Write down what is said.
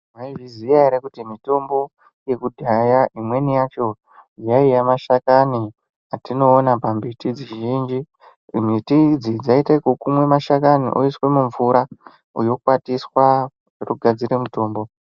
Maizviziya ere kuti mitombo yakudhaya imweni yacho yaiya mashakani atinoona pambiti dzizhinji. Mbiti idzi dzaiite kukumwa mashakani oiswe mumvura yokwatiswa yogadzire mutombo.